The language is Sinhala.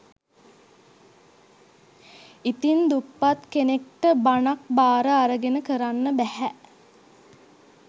ඉතින් දුප්පත් කෙනෙක්ට බණක් බාර අරගෙන කරන්න බැහැ